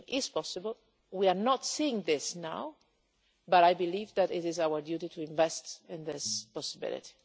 A solution is possible, we are not seeing this now, but I believe that it is our duty to invest in this possibility.